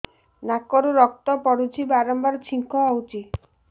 ନାକରୁ ରକ୍ତ ପଡୁଛି ବାରମ୍ବାର ଛିଙ୍କ ହଉଚି